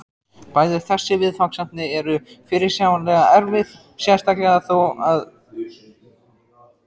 Bæði þessi viðfangsefni eru fyrirsjáanlega erfið, sérstaklega þó það síðarnefnda.